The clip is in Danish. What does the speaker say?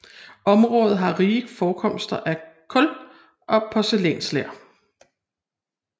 Området har rige forekomster af kul og porcelænsler